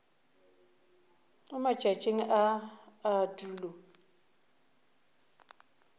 mo matšatšing a a tulo